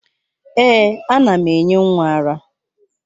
Èè, ana m enye nwa ara.